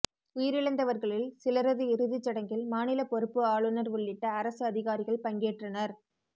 உயிரிழந்தவர்களில் சிலரது இறுதிச்சடங்கில் மாநில பொறுப்பு ஆளுநர் உள்ளிட்ட அரசு அதிகாரிகள் பங்கேற்றனர்